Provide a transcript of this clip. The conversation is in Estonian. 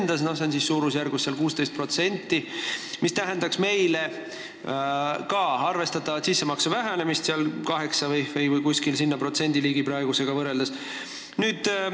Räägitakse suurusjärgust 16%, mis tähendaks meile arvestatavat sissemakse vähenemist, praegusega võrreldes umbes 8%.